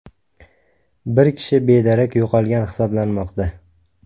Bir kishi bedarak yo‘qolgan hisoblanmoqda.